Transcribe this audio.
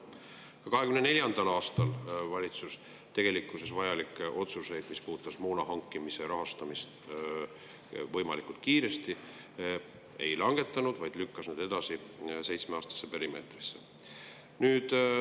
Ka 2024. aastal ei langetanud valitsus vajalikke otsuseid, mis puudutasid moona hankimise rahastamist võimalikult kiiresti, vaid lükkas need edasi seitsmeaastasse perimeetrisse.